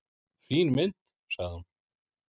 """Fín mynd, sagði hún."""